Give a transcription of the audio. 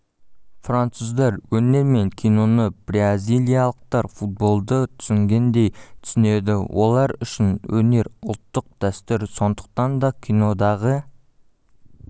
француздар өнер мен киноны бразилиялықтар футболды түсінгендей түсінеді олар үшін өнер ұлттық дәстүр сондықтан да кинодағы